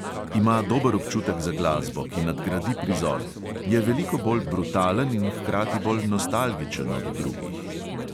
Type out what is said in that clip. Ima dober občutek za glasbo, ki nadgradi prizor, je veliko bolj brutalen in hkrati bolj nostalgičen od drugih ...